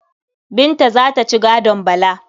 Binta za ta ci gadon Bala.